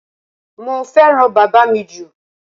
Mo fẹ́ràn bàbá mi jù.